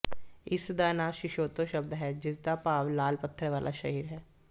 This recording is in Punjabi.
ਇਸ ਦਾ ਨਾਂ ਸਿਸੋਥੋ ਸ਼ਬਦ ਹੈ ਜਿਸਦਾ ਭਾਵ ਲਾਲ ਪੱਥਰ ਵਾਲਾ ਸ਼ਹਿਰ ਹੈ